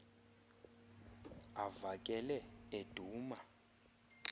ava kele eduma